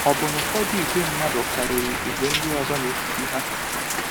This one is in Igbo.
Ọ̀ bụ na ụfọdụ ìgwè mmadụ karịrị ìgwè ndị ọzọ n’etiti ha?